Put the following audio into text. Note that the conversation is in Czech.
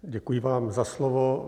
Děkuji vám za slovo.